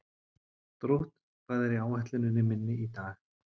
Drótt, hvað er á áætluninni minni í dag?